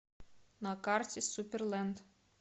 на карте суперленд